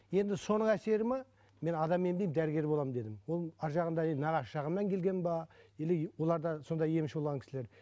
енді соның әсері ме мен адам емдеймін дәрігер боламын дедім ол ары жағында енді нағашы жағымнан келген бе или олар да сондай емші болған кісілер